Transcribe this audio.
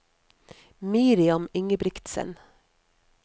Miriam Ingebretsen